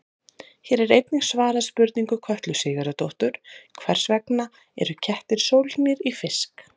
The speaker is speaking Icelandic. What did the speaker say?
Hér er einnig svarað spurningu Kötlu Sigurðardóttur: Hvers vegna eru kettir sólgnir í fisk?